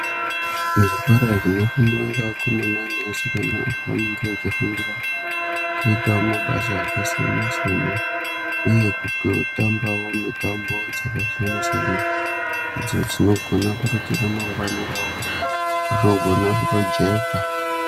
Zvikora zvinofundwa neakomana neasikana paanenge echifundira kuita mabasa akasiyana siyana uye kutotambavo mitambo dzakasiyana siyana icho chinogona kutoti ramangwana ravo rinogona kutojeka.